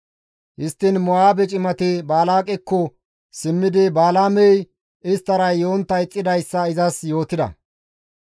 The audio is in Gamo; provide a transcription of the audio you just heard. Histtiin Mo7aabe cimati Balaaqekko simmidi Balaamey isttara yontta ixxidayssa izas yootida.